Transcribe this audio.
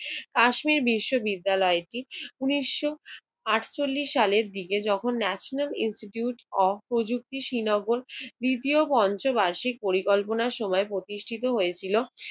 কাশ্মীর বিশ্ববিদ্যালয়টি উনিশ আটচল্লিশ সালের দিকে যখন ন্যাশনাল ইনস্টিটিউট অফ প্রযুক্তি শ্রীনগর তৃতীয় পঞ্চ বার্ষিক পরিকল্পনা সময়ে প্রতিষ্ঠিত হয়েছিল